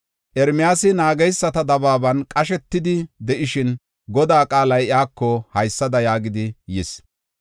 Ermiyaasi naageysata dabaaban qashetidi de7ishin, Godaa qaalay iyako haysada yaagidi yis.